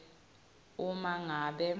uma ngabe